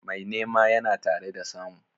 Mai nema yana tare da samu.